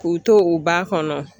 K'u to u ba kɔnɔ